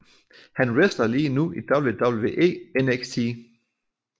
Han wrestler lige nu i WWE NXT